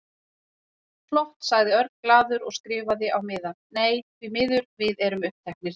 Flott sagði Örn glaður og skrifaði á miða: Nei, því miður, við erum uppteknir